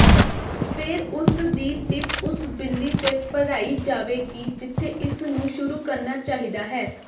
ਫਿਰ ਉਸ ਦੀ ਟਿਪ ਉਸ ਬਿੱਲੀ ਤੇ ਭਰਾਈ ਜਾਵੇਗੀ ਜਿੱਥੇ ਇਸਨੂੰ ਸ਼ੁਰੂ ਕਰਨਾ ਚਾਹੀਦਾ ਹੈ